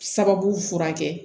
Sababu furakɛ